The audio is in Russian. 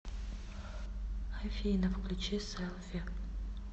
афина включи сэлфи